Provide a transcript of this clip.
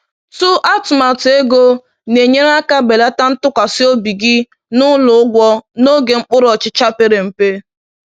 tụ atụmatụ ego na-enyere aka belata ntụkwasị obi gị n’ụlọ ụgwọ n’oge mkpụrụ ọchịcha pere mpe